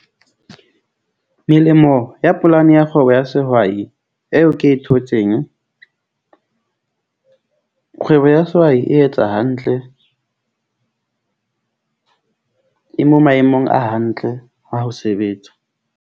Melemo ya polane ya kgwebo ya sehwai eo ke e thotseng kgwebo ya sehwai e etsa hantle , e mo maemong a hantle a ho sebetsa.